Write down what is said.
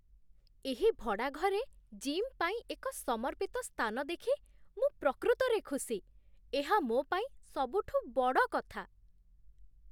ଏହି ଭଡ଼ା ଘରେ ଜିମ୍ ପାଇଁ ଏକ ସମର୍ପିତ ସ୍ଥାନ ଦେଖି ମୁଁ ପ୍ରକୃତରେ ଖୁସି, ଏହା ମୋ ପାଇଁ ସବୁଠୁ ବଡ଼ କଥା।